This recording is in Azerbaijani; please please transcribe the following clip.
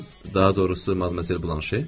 Daha doğrusu Madmazel Blanşe?